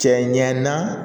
Cɛ ɲɛnna